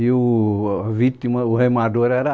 E o... a vítima, o remador, era